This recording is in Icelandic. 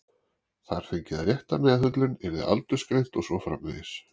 Þar fengi það rétta meðhöndlun, yrði aldursgreint og svo framvegis.